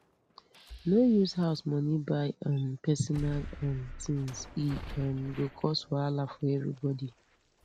no use house money buy um personal um things e um go cause wahala for everybody